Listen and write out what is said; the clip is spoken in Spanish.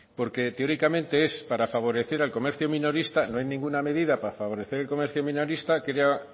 porque teóricamente es para favorecer al comercio minorista no hay ninguna medida para favorecer el comercio minorista